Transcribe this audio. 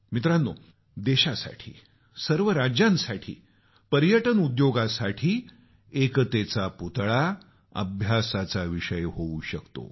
मित्रानो देशासाठी सर्व राज्यांसाठी पर्यटन उद्योगासाठी एकतेचा पुतळा अभ्यासाचा विषय होऊ शकतो